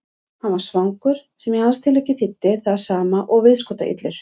Hann var svangur, sem í hans tilviki þýddi það sama og viðskotaillur.